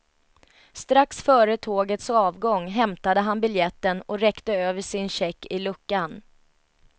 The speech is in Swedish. Strax före tågets avgång hämtade han biljetten och räckte över sin check i luckan.